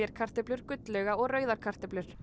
kartöflur gullauga og rauðar kartöflur